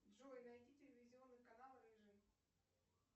джой найди телевизионный канал рыжий